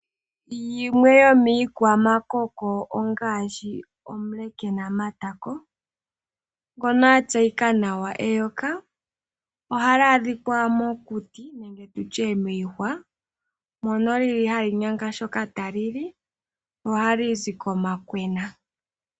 Yimwe yomi kwamakoko ongaashi omule kena matako ngono a tseyika nawa eyoka. Ohali adhika mokuti nenge tutye miihwa mono lili hali nyanga shoka tali li ohali zi komakwena.